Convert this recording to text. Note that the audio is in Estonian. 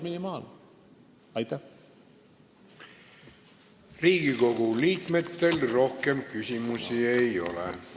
Riigikogu liikmetel rohkem küsimusi ei ole.